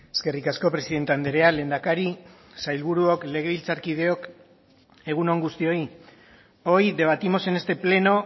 eskerrik asko presidente andrea lehendakari sailburuok legebiltzarkideok egun on guztioi hoy debatimos en este pleno